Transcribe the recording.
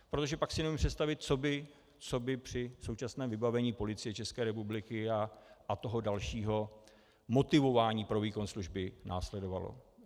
Protože pak si neumím představit, co by při současném vybavení Policie České republiky a toho dalšího motivování pro výkon služby následovalo.